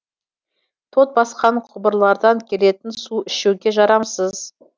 тот басқан құбырлардан келетін су ішуге жарамсыз